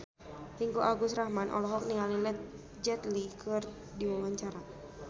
Ringgo Agus Rahman olohok ningali Jet Li keur diwawancara